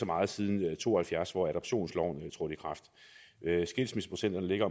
meget siden nitten to og halvfjerds hvor adoptionsloven trådte i kraft skilsmisseprocenten ligger